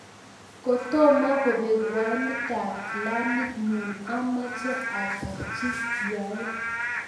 kotomo kubek winetab kilamit nyu ameche atarchi yoe